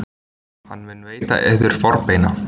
Hann mun veita yður forbeina.